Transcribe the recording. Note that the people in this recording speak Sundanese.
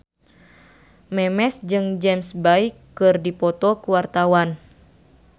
Memes jeung James Bay keur dipoto ku wartawan